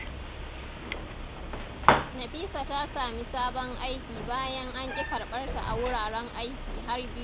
Nafisa ta sami sabon aiki bayan an ƙi karɓarta a wuraren aiki har biyu.